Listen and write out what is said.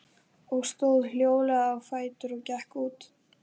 Ég stóð hljóðlega á fætur og gekk út.